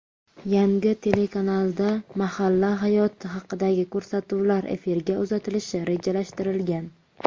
Yangi telekanalda mahalla hayoti haqidagi ko‘rsatuvlar efirga uzatilishi rejalashtirilgan.